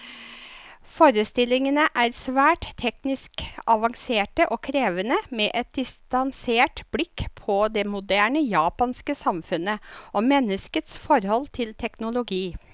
Forestillingene er svært teknisk avanserte og krevende, med et distansert blikk på det moderne japanske samfunnet, og menneskets forhold til teknologi.